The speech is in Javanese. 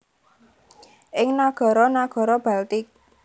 ing nagara nagara Baltik